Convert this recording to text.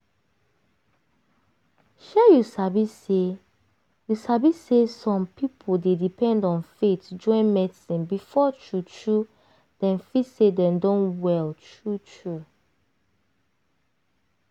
shey you sabi shey you sabi say some pipo dey depend on faith join medicine before true true dem feel say dem don well true true.